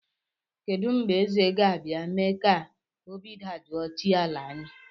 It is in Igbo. Kedụ mgbe Eze ga-abịa mee ka obi dajụọ chi ala anyị